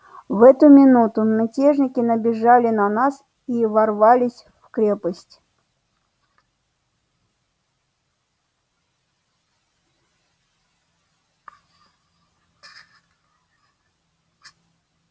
в эту минуту мятежники набежали на нас и ворвались в крепость